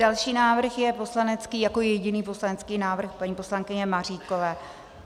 Další návrh je poslanecký, jako jediný poslanecký návrh, paní poslankyně Maříkové.